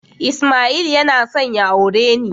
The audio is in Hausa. Ismail yana son ya aure ni